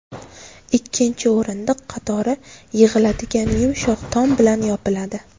Ikkinchi o‘rindiq qatori yig‘iladigan yumshoq tom bilan yopiladi.